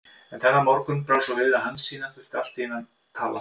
En þennan morgun brá svo við að Hansína þurfti allt í einu að tala.